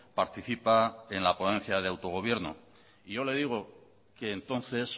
participa en la ponencia de autogobierno y yo le digo que entonces